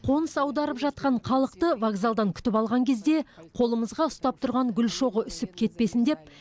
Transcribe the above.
қоныс аударып жатқан халықты вокзалдан күтіп алған кезде қолымызға ұстап тұрған гүл шоғы үсіп кетпесін деп